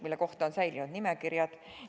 Selle kohta on säilinud nimekirjad.